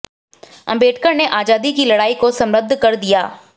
अंबेडकर ने आज़ादी की लड़ाई को समृद्ध कर दिया